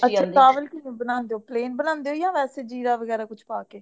ਚਾਵਲ ਕਿਵੇਂ ਬਾਨਾਂਦੇ ਹੋ plain ਬਾਨਾਂਦੇਵੋ ਯਾ ਵੇਸੇ ਜ਼ੀਰਾ ਵਗੈਰਾ ਕੁਛ ਪਾਕੇ